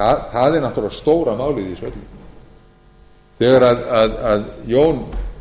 það er náttúrlega stóra málið í þessu öllu þegar jón